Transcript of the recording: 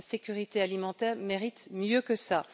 La sécurité alimentaire mérite mieux que cela.